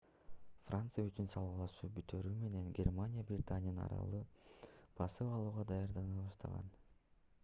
франция үчүн салгылашуу бүтөөрү менен германия британиянын аралын басып алууга даярдана баштаган